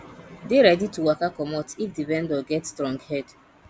dey ready to waka comot if di vendor get strong head